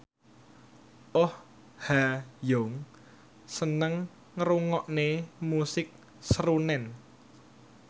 Oh Ha Young seneng ngrungokne musik srunen